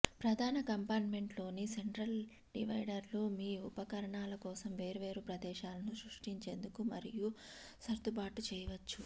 ప్రధాన కంపార్ట్మెంట్లోని సెంట్రల్ డివైడర్లు మీ ఉపకరణాల కోసం వేర్వేరు ప్రదేశాలను సృష్టించేందుకు మరియు సర్దుబాటు చేయవచ్చు